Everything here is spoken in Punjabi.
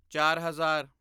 ਚਾਰ ਹਜ਼ਾਰ